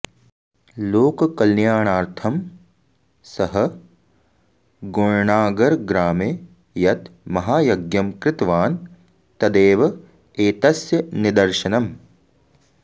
लोककल्याणार्थं सः गोण्णागरग्रामे यत् महायज्ञं कृतवान् तदेव एतस्य निदर्शनम्